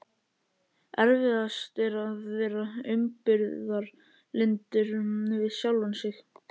Erfiðast er að vera umburðarlyndur við sjálfan sig.